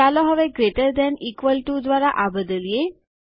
ચાલો હવે greater than equal to દ્વારા આ બદલીએ